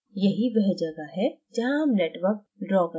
यही वह जगह है जहाँ हम networks ड्रा करेंगें